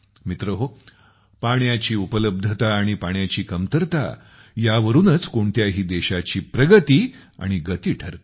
मित्रहो पाण्याची उपलब्धता आणि पाण्याची कमतरता यावरूनच कोणत्याही देशाची प्रगती आणि गती ठरते